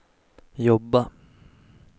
jobba